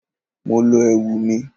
Mo lọ ẹ̀wù mi.